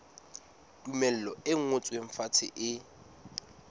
tumello e ngotsweng fatshe e